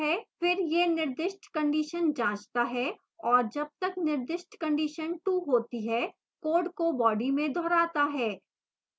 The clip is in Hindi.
फिर यह निर्दिष्ट condition जाँचता है और जब तक निर्दिष्ट condition true होती है code को body में दोहराता है